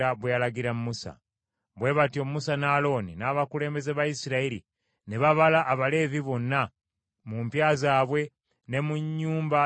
Bwe batyo Musa ne Alooni n’abakulembeze ba Isirayiri ne babala Abaleevi bonna mu mpya zaabwe ne mu nnyumba z’abakadde baabwe.